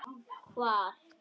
Hverra manna er hún?